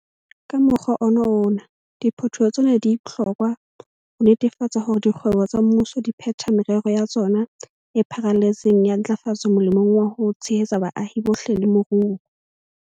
Ka mokgwa ona wona, diphetoho tsena di bohlokwa ho netefatsa hore dikgwebo tsa mmuso di phetha merero ya tsona e pharaletseng ya ntlafatso molemong wa ho tshehetsa baahi bohle le moruo.